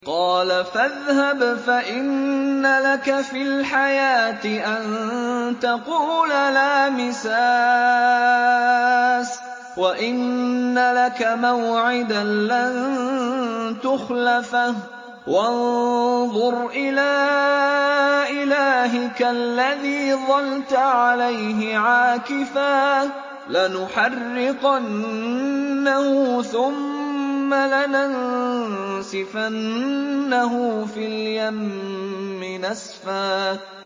قَالَ فَاذْهَبْ فَإِنَّ لَكَ فِي الْحَيَاةِ أَن تَقُولَ لَا مِسَاسَ ۖ وَإِنَّ لَكَ مَوْعِدًا لَّن تُخْلَفَهُ ۖ وَانظُرْ إِلَىٰ إِلَٰهِكَ الَّذِي ظَلْتَ عَلَيْهِ عَاكِفًا ۖ لَّنُحَرِّقَنَّهُ ثُمَّ لَنَنسِفَنَّهُ فِي الْيَمِّ نَسْفًا